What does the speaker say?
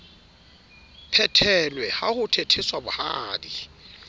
phethelwe ha ho thetheswa bohadi